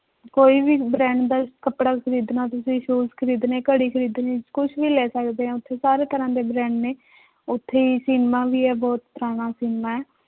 ਕੋਈ ਵੀ brand ਦਾ ਕੱਪੜਾ ਖ਼ਰੀਦਣਾ ਤੁਸੀਂ shoes ਖ਼ਰੀਦਣੇ ਘੜੀ ਖ਼ਰੀਦਣੀ ਕੁਛ ਵੀ ਲੈ ਸਕਦੇ ਹੈ ਉੱਥੇ ਸਾਰੇ ਤਰ੍ਹਾਂ ਦੇ brand ਨੇ, ਉੱਥੇ ਸਿਨੇਮਾ ਵੀ ਹੈ ਬਹੁਤ ਪੁਰਾਣਾ ਸਿਨੇਮਾ ਹੈ